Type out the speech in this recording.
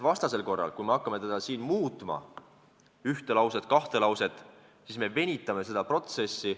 Muidu, kui me hakkame siin muutma ühte või kahte lauset, siis me venitame seda protsessi.